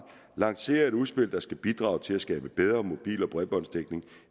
lancere et udspil der skal bidrage til at skabe bedre mobil og bredbåndsdækning